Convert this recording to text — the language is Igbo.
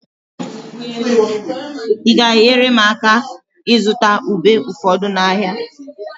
Ị ga-enyere m aka ịzụta ube ụfọdụ n'ahịa?